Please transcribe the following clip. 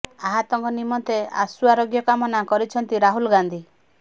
ଆହତଙ୍କ ନିମନ୍ତେ ଆଶୁ ଆରୋଗ୍ୟ କାମନା କରିଛନ୍ତି ରାହୁଲ ଗାନ୍ଧି